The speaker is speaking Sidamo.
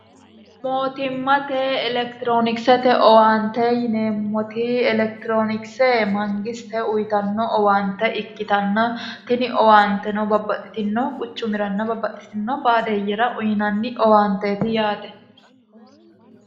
mootimmate elekitiroonikisete owaante yineemmoti elekitiroonikise mangisite uyitanno owaante ikkitanna tini owaanteno babbaxxitino quchumiranna babbaxxitino baadeeyyera uyinanni owaanteeti yaate